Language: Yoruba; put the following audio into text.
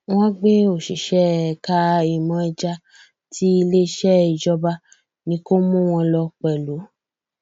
wọn gbé òṣìṣẹ ẹka ìmọ ẹja tí iléeṣẹ ìjọba ní kó mú wọn lọ pẹlú